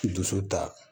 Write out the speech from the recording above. Dusu ta